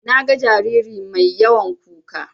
Naga jariri mai yawan kuka.